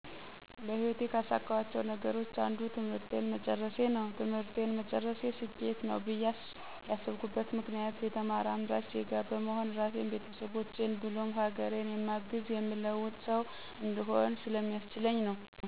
በህይወቴ ካሳካኋቸው ነገሮች አንዱ ትምህርቴን መጨረሴ ነው። ትምህርቴን መጨረሴ ስኬት ነው ብዬ ያስብኩበት ምክንያት የተማረ አምራች ዜጋ በመሆን ራሴን፣ ቤተሰቦቼን ብሎም ሀገሬን የማግዝ፣ የምለውጥ ሠው እንድሆን ስለሚያስችለኝ ነው።